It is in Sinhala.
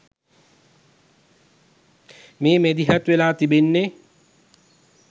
මේ මැදිහත් වෙලා තිබෙන්නේ.